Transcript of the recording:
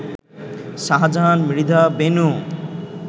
Shahjahan Mridha Benu